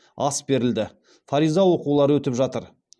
ас берілді фариза оқулары өтіп жатыр